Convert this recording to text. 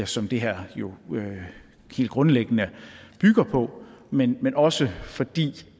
som det her jo helt grundlæggende bygger på men men også fordi